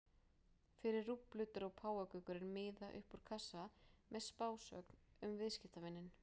Fyrir rúblu dró páfagaukurinn miða upp úr kassa með spásögn um viðskiptavininn.